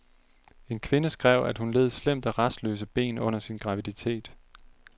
En kvinde skrev, at hun led slemt af rastløse ben under sin graviditet.